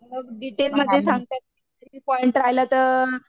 मग डिटेलमध्ये सांगतात